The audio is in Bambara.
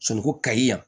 Sɔliko kaɲi yan